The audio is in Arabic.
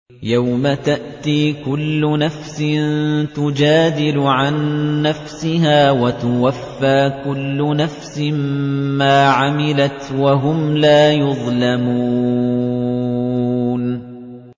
۞ يَوْمَ تَأْتِي كُلُّ نَفْسٍ تُجَادِلُ عَن نَّفْسِهَا وَتُوَفَّىٰ كُلُّ نَفْسٍ مَّا عَمِلَتْ وَهُمْ لَا يُظْلَمُونَ